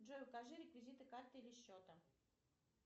джой укажи реквизиты карты или счета